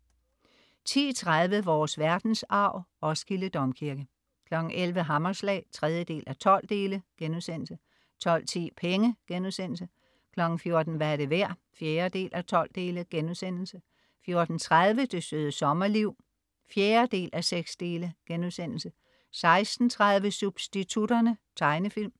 10.30 Vores verdensarv: Roskilde Domkirke 11.00 Hammerslag 3:12* 12.10 Penge* 14.00 Hvad er det værd? 4:12* 14.30 Det Søde Sommerliv 4:6* 16.30 Substitutterne. Tegnefilm